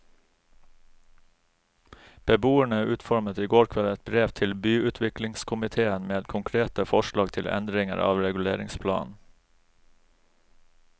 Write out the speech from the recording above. Beboerne utformet i går kveld et brev til byutviklingskomitéen med konkrete forslag til endringer av reguleringsplanen.